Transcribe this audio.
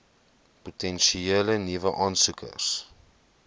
potensiële nuwe aansoekers